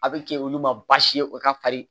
A bɛ kɛ olu ma baasi ye o ka farin